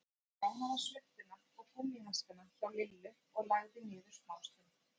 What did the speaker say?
Hún fékk lánaða svuntuna og gúmmíhanskana hjá Lillu og lagði niður smástund.